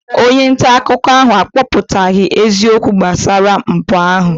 Onye nta akụkọ ahụ akọpụtaghị eziokwu gbasara mpụ ahụ.